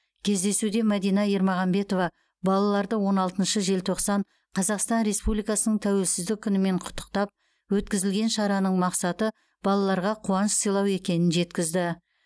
кездесуде мадина ермағанбетова балаларды он алтыншы желтоқсан қазақстан республикасының тәуелсіздік күнімен құттықтап өткізілген шараның мақсаты балаларға қуаныш сыйлау екенін жеткізді